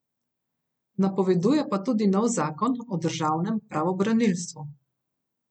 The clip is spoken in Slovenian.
Napoveduje pa tudi nov zakon o državnem pravobranilstvu.